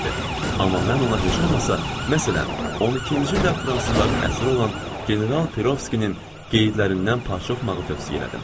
Amma mən ona heç olmasa, məsələn, 12-ci ildə fransızların əsiri olan General Perovskinin qeydlərindən parça oxumağı tövsiyə elədim.